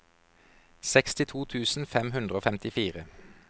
sekstito tusen fem hundre og femtifire